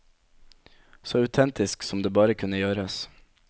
Så autentisk som det bare kunne gjøres.